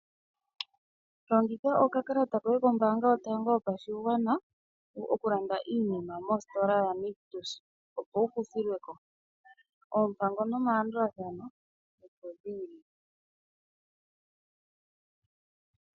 Longitha oka kalata koye kombanga yotango yopashingwana, okulanda iinima mositola yanictus opo wukuthilweko oompango nomalandulathano opo dhili.